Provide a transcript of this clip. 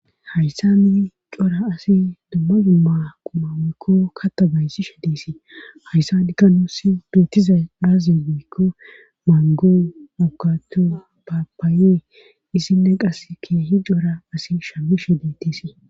Hayssa ni cora asi dumma dumma qumaweykko kata bayssi shedesii hayssadikka nuusi beetizay baazi weykko maango mowkathu papaaye issinne qas keehi joora asi shammi shedetisii.